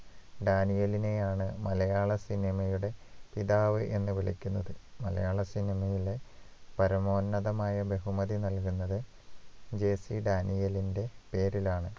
ഡാനിയേലിനെയാണ് മലയാള സിനിമയുടെ പിതാവ് എന്ന് വിളിക്കുന്നത് മലയാള സിനിമയിലെ പരമോന്നതമായ ബഹുമതി നൽകുന്നത് JC ഡാനിയേലിന്റെ പേരിലാണ്